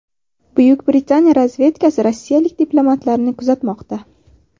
Buyuk Britaniya razvedkasi rossiyalik diplomatlarni kuzatmoqda.